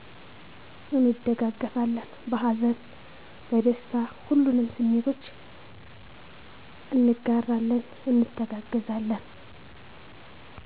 እንደጋገፋለን በሀዘን፣ በደስታ ሁሉንም ስሜቶች እጋራለን እንተጋገዛለን